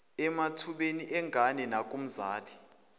emathubeni engane nakumzali